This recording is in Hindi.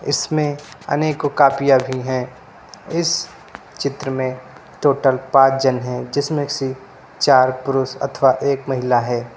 इसमें अनेकों कॉपियां भी है इस चित्र में टोटल पांच जन है जिसमें से चार पुरुष तथा एक महिला है।